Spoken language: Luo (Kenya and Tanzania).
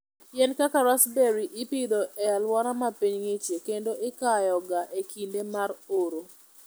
Yien kaka raspberry ipidho e alwora ma piny ng'ichie kendo ikayoga e kinde mar oro.